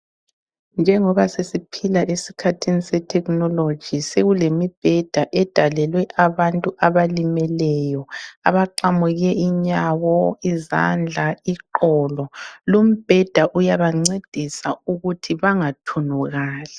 Njengoba sesiphila esikhathini se-technology sekulemibheda edalelwe abantu abalimeleyo, abaqamuke inyawo, izandla, iqolo. Lumbheda iyabancedisa ukuthi bangathunukali.